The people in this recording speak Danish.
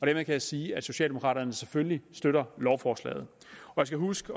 jeg sige at socialdemokraterne selvfølgelig støtter lovforslaget jeg skal huske